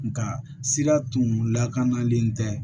Nga sira tun lakanalen tɛ